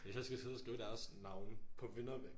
Hvis jeg skal sidde og skrive deres navne på vinderne